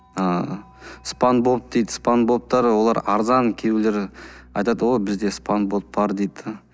ыыы спанбоп дейді спанбоптар олар арзан кейбіреулері айтады о бізде спанбоп бар дейді де